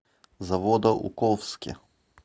заводоуковске